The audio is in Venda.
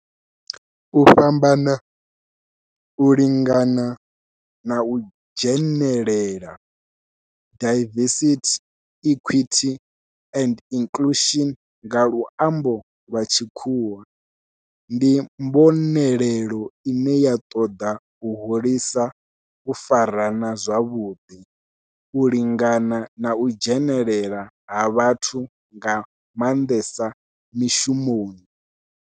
U fhambana, u lingana na u dzhenelela, diversity, equity and inclusion nga lwambo lwa tshikhuwa, ndi mbonelelo ine ya toda u hulisa u farana zwavhudi, u lingana na u dzhenelela ha vhathu nga mandesa mishumoni.